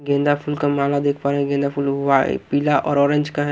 गेंदा फुल देख पा रहे हैं गेंदा पीला और ऑरेंज का है।